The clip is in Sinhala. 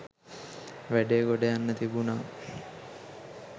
වැඩේ ගොඩ යන්න තිබුණා.